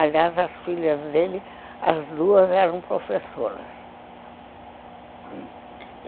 Aliás, as filhas dele, as duas eram professoras.